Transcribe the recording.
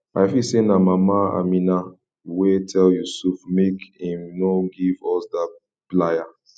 i feel say na mama amina wey tell yusuf make im no give us dat plier